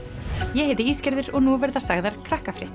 ég heiti og nú verða sagðar